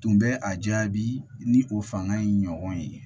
Tun bɛ a jaabi ni o fanga in ɲɔgɔn ye